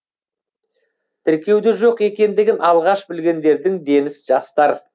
тіркеуде жоқ екендігін алғаш білгендердің дені жастар